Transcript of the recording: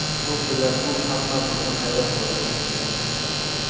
Bu bilan u hammamizni hayron qoldirdi.